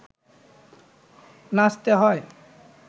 নাচতে হয়